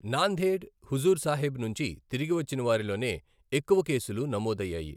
నాందేఢ్ హుజూర్సాహిబ్ నుంచి తిరిగి వచ్చిన వారిలోనే ఎక్కువ కేసులు నమోదయ్యాయి.